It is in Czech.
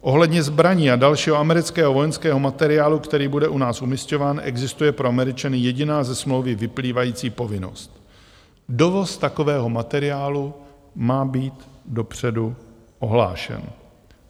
Ohledně zbraní a dalšího amerického vojenského materiálu, který bude u nás umisťován, existuje pro Američany jediná ze smlouvy vyplývající povinnost: dovoz takového materiálu má být dopředu ohlášen.